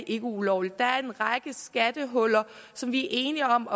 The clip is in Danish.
ikke ulovligt der er en række skattehuller som vi er enige om